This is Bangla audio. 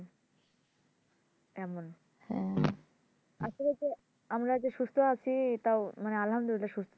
এমন আসলে তো আমরা যে সুস্থ আছি তা আলহামদুলিল্লাহ সুস্থ